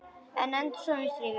Við enduðum í stríði.